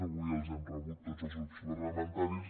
avui els hem rebut tots els grups parlamentaris